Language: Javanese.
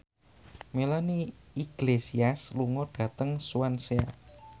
Melanie Iglesias lunga dhateng Swansea